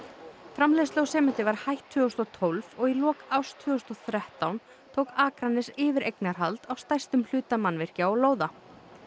framleiðslu á sementi var hætt tvö þúsund og tólf og í lok árs tvö þúsund og þrettán tók Akranes yfir eignarhald á stærstum hluta mannvirkja og lóða